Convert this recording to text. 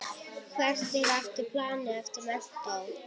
Hvert er planið eftir menntó?